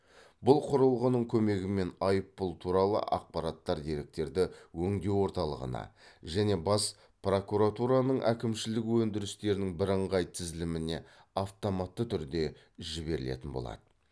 бұл құрылғының көмегімен айыппұл туралы ақпараттар деректерді өңдеу орталығына және бас прокуратураның әкімшілік өндірістерінің бірыңғай тізіліміне автоматты түрде жіберілетін болады